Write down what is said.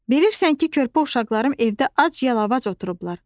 Bilirsən ki, körpə uşaqlarım evdə ac-yalavac oturublar.